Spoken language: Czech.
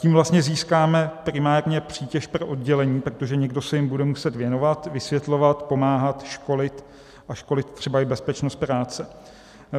Tím vlastně získáme primárně přítěž pro oddělení, protože někdo se jim bude muset věnovat, vysvětlovat, pomáhat, školit a školit třeba i bezpečnost práce.